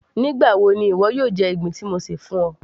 nígbà wo ni ìwọ yóò jẹ ìgbín tí mo ṣè fún ọ